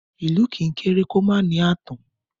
Ilù kì í kere kì o ma ni aatan